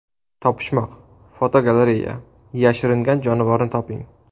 Topishmoq-fotogalereya: Yashiringan jonivorni toping.